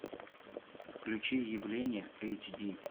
включи явление эйч ди